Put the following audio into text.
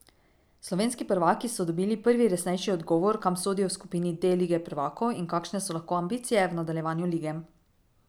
Slovenski prvaki so dobili prvi resnejši odgovor, kam sodijo v skupini D lige prvakov in kakšne so lahko ambicije v nadaljevanju lige.